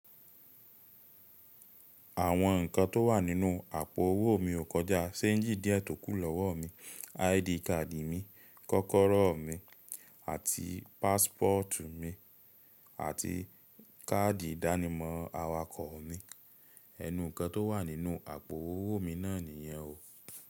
Àwọn nǹkan tó wà nínú àpò owó mi ò kọjá, ṣéǹjì díẹ̀ tókù lọ́wọ́ mi, ID card mi, kọ́kọ́rọ́ mi àti passport mi àti káàdì ìdánimọ̀ awakọ̀ mi. Ẹnu nǹkan tó wà nínú àpò owó mi náà nìyẹn o.